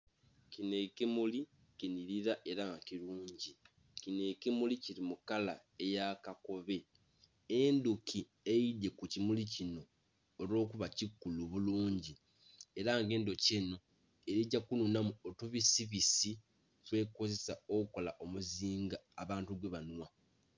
Kino ekimuli kinhilila ela nga kilungi. Kino ekimuli kili mu kala eya kakobe. Endhuki eidhye ku kimuli kino olw'okuba kikulu bulungi. Ela nga endhuki enho eli gya kunhunhamu otubisibisi, twekozesa okukola omuzinga abantu gwebanhwa.